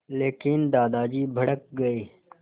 लेकिन दादाजी भड़क गए